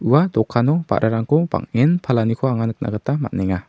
ua dokano ba·rarangko bang·en palaniko anga nikna gita man·enga.